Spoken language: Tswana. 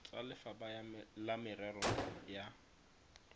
tsa lefapha la merero ya